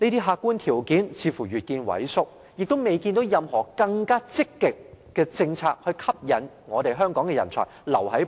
客觀條件似乎越見萎縮，亦看不到有任何更積極的政策去吸引香港人才留下。